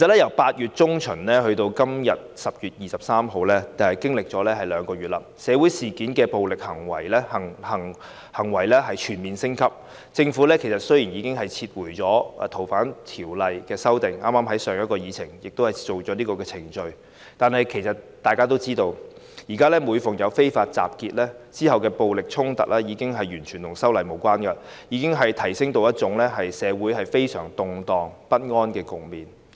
由8月中旬至今天10月23日，已經過了兩個月，其間社會事件中的暴力行為全面升級，雖然政府已經撤回《逃犯條例》的修訂，立法會剛剛已在上一項議程處理有關的程序，但其實大家都知道，現在每逢有非法集結，之後發生的暴力衝突，已經與修例完全無關，並已提升至令社會陷入非常動盪不安的局面。